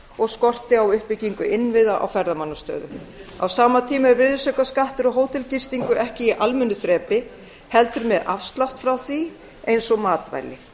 og skorti á uppbyggingu innviða á ferðamannastöðum á sama tíma er virðisaukaskattur á hótelgistingu ekki í almennu þrepi heldur með afslátt frá því eins og matvæli